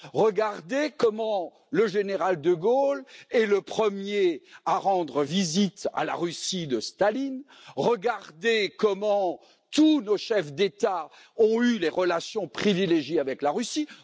Regardez comment le général de Gaulle est le premier à rendre visite à la Russie de Staline! Regardez comment tous nos chefs d'État ont eu des relations privilégiées avec la Russie!